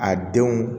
A denw